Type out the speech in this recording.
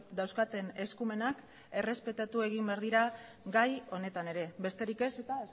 dauzkaten eskumenak errespetatu egin behar dira gai honetan ere beterik ez eta